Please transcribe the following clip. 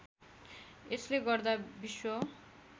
यसले गर्दा विश्व